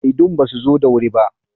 Shaidun ba su zo da wuri ba.